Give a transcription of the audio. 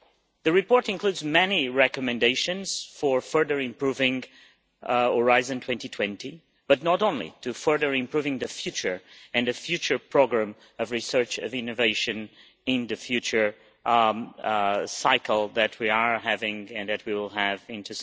The report includes many recommendations for further improving Horizon 2020, but not only that, for further improving the future and the future programme of research and innovation in the future cycle that we are having and that we will have in